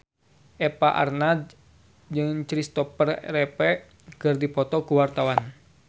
Eva Arnaz jeung Christopher Reeve keur dipoto ku wartawan